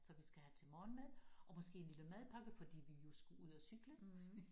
Så vi skal have til morgenmad og måske en lille madpakke fordi vi jo skulle ud og cykle